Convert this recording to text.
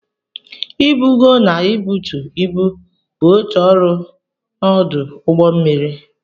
Ibugo na ibutu ibu bụ otu ọrụ na ọdụ ụgbọ mmiri.